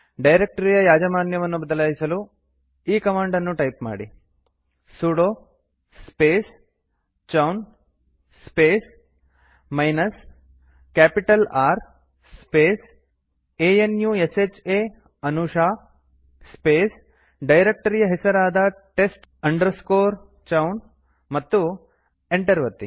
ಡೈರೆಕ್ಟರಿಯ ಯಾಜಮಾನ್ಯವನ್ನು ಬದಲಾಯಿಸಲು ಈ ಕಮಾಂಡ್ ನ್ನು ಟೈಪ್ ಮಾಡಿ sudo space chown space minus capital R space a n u s h ಆ ಅನುಶಾ ಸ್ಪೇಸ್ ಡೈರಕ್ಟರಿಯ ಹೆಸರಾದ test chown ಮತ್ತು ಎಂಟರ್ ಒತ್ತಿ